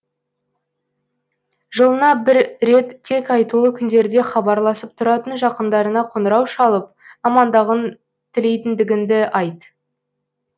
жылына бір рет тек айтулы күндерде хабарласып тұратын жақындарыңа қоңырау шалып амандығын тілейтіндігіңді айт